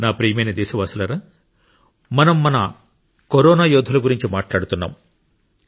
నా ప్రియమైన దేశవాసులారా మనం మన కరోనా యోధుల గురించి మాట్లాడుతున్నాం